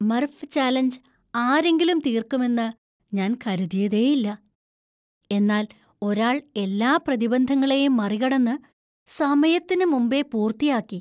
Murph challenge ആരെങ്കിലും തീര്‍ക്കുമെന്ന് ഞാൻ കരുതിയേയില്ല, എന്നാൽ ഒരാള്‍ എല്ലാ പ്രതിബന്ധങ്ങളെയും മറികടന്ന് സമയത്തിന് മുമ്പേ പൂർത്തിയാക്കി.